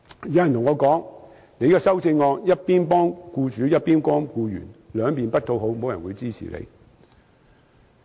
有人對我說，我的修正案一邊幫僱主，一邊幫僱員，兩方不討好，沒有人會支持我。